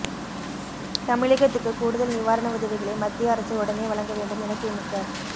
தமிழகத்துக்கு கூடுதல் நிவாரண உதவிகளை மத்திய அரசு உடனே வழங்கவேண்டும் என திமுக